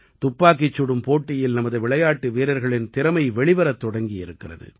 துப்பாக்கிச் சுடும் போட்டியில் நமது விளையாட்டு வீரர்களின் திறமை வெளிவரத் தொடங்கியிருக்கிறது